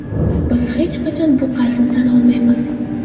Biz hech qachon bu qarzni tan olmaymiz.